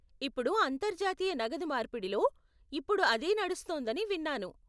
ఇప్పుడు అంతర్జాతీయ నగదు మార్పిడిలో ఇప్పుడు అదే నడుస్తోందని విన్నాను.